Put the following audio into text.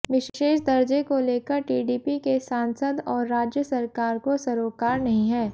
विशेष दर्जे को लेकर टीडीपी के सांसद और राज्य सरकार को सरोकार नहीं है